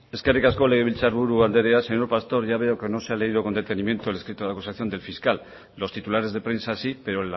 eskerrik asko legebiltzar buru andrea señor pastor ya veo que no se ha leído con detenimiento el escrito de la acusación del fiscal los titulares de prensa sí pero